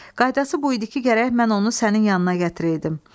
Qaydası bu idi ki, gərək mən onu sənin yanına gətireydim.